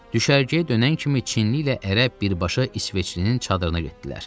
Düşərgəyə dönən kimi Çinli ilə ərəb birbaşa İsveçlinin çadırına getdilər.